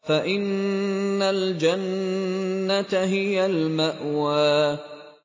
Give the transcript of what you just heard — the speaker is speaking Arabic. فَإِنَّ الْجَنَّةَ هِيَ الْمَأْوَىٰ